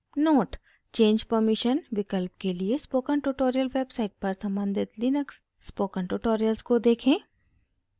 note: change permission विकल्प के लिए स्पोकन ट्यूटोरियल वेबसाइट पर सम्बंधित लिनक्स स्पोकन ट्यूटोरियल्स को देखें